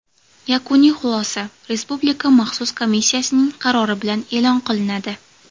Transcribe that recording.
Yakuniy xulosa Respublika maxsus komissiyasining qarori bilan e’lon qilinadi.